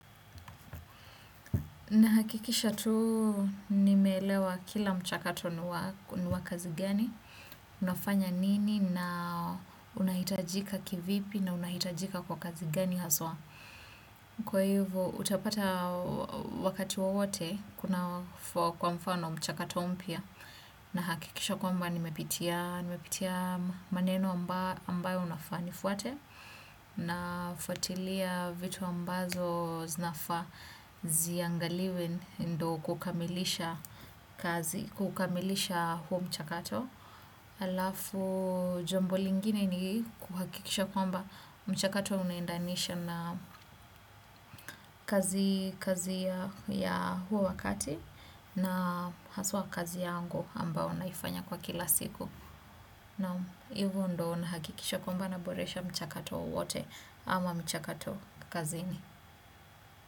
Nahakikisha tuu nimeelewa kila mchakato niwa kazi gani, unafanya nini na unahitajika kivipi na unahitajika kwa kazi gani haswa. Kwa hivo utapata wakati wowote kuna kwa mfano mchakato umpia. Na hakikisha kwamba nimepitia maneno ambayo unafaa nifwate na fuatilia vitu ambazo zinafa ziangaliwe ndo kukamilisha huo mchakato. Alafu jambo lingine ni kuhakikisha kwamba mchakato unaendanisha na kazi ya huo wakati na haswa kazi yangu ambao naifanya kwa kila siku naam hivyo ndoo na hakikisha kwamba na boresha mchakato wowote ama mchakato kazini.